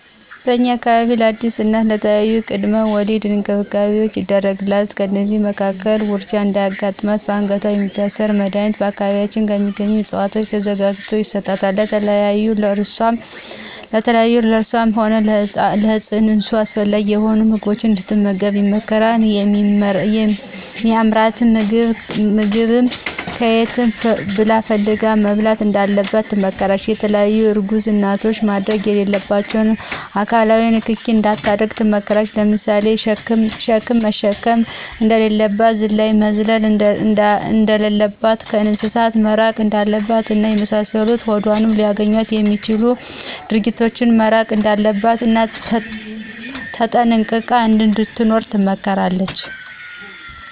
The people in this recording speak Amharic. በእኛ አካባቢ ለአዲስ እናት የተለያዪ የቅድመ ወሊድ እንክብካቤዎች ይደረጉላታል። ከእነዚህም መካከል ውርጃ እንዳያጋጥማትበአንገት የሚታሰር መድኀኒት በአካባቢያችን ከሚገኙ እፅዋቶች ተዘጋጅቶ ይሰጣታል፣ የተለያዩ ለእሷም ሆነ ለፅንሱ አስፈላጊ የሆኑ ምግቦችን እንድትመገብ ይመከራል የሚአምራትንም ምግብ ከየትም ብላ ፈልጋ መብላት እንዳለባት ትመከራለች፣ የተለያዪ እርጉዝ እናቶች ማድረግ የሌለባቸውን አካላዊ ንክኪ እንዳታደርግ ትመከራለች ለምሳሌ ሸክም መሸከም እንደሌለባት፣ ዝላይ መዝለል እንደለለባት፣ ከእንስሳት መራቅ እንዳለባት እና የመሳሰሉትን ሆዷን ሊአገኙ ምክትል ግጅ ድርጊቶች መራቅ እንዳለባት እና ተጠንቅቃ እንድትኖር ትመከራለች።